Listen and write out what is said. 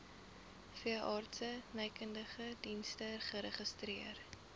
veeartsenykundige dienste geregistreer